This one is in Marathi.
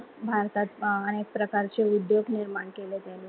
भारतात अं अनेक प्रकारचे उद्योग निर्माण केले त्यांनी